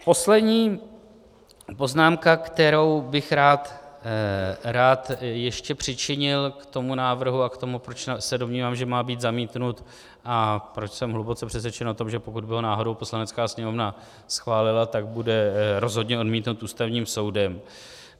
Poslední poznámka, kterou bych rád ještě přičinil k tomu návrhu a k tomu, proč se domnívám, že má být zamítnut, a proč jsem hluboce přesvědčen o tom, že pokud by ho náhodou Poslanecká sněmovna schválila, tak bude rozhodně odmítnut Ústavním soudem.